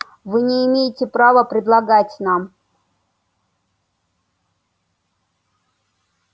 вы не имеете права предлагать нам